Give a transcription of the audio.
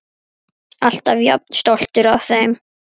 Alltaf jafn stoltur af þeim.